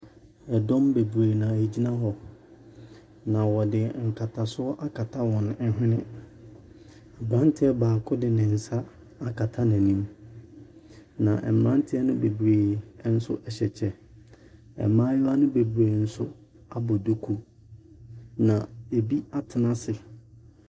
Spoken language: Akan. Ɛdɔm bebree na wɔgyina hɔ, na wɔde nkatasoɔ akata wɔn hwene. Aberanteɛ baako de ne nsa akata n'anim, na mmeranteɛ no bebree hyɛ kyɛ. Mmaayewa no bebree nso abɔ duku, na ɛbi atena ase.